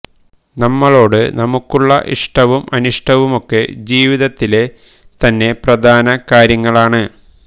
നമ്മളോട് നമുക്കുള്ള ഇഷ്ടവും അനിഷ്ടവുമൊക്കെ ജീവിതത്തിലെ തന്നെ പ്രധാന കാര്യങ്ങളാണ്